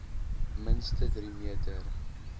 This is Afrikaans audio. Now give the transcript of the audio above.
minste drie meter